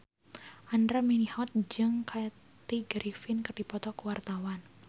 Andra Manihot jeung Kathy Griffin keur dipoto ku wartawan